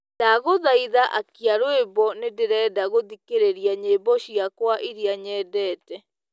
ndagũthaĩtha akĩa rwĩmbo nĩndĩrenda gũthĩkĩrĩrĩa nyĩmbo cĩakwa ĩrĩa nyendete